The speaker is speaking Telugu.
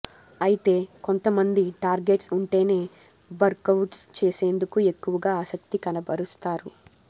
అయితే కొంత మంది టార్గెట్స్ ఉంటేనే వర్కవుట్స్ చేసేందుకు ఎక్కువగా ఆసక్తి కనబరుస్తారు